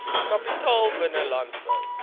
kapitaal binne landbou